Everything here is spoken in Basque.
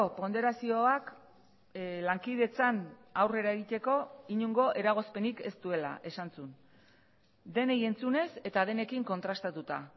ponderazioak lankidetzan aurrera egiteko inongo eragozpenik ez duela esan zuen denei entzunez eta denekin kontrastatuta